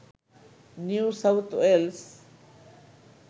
new South Wales